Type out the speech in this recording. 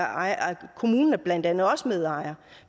ejer kommunen er blandt andet også medejer